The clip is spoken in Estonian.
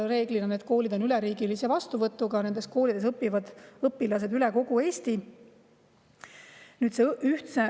Reeglina on need koolid üleriigilise vastuvõtuga ja seal õpivad õpilased Eesti.